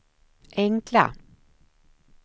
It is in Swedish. enkla